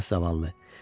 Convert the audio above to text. Ah zavallı.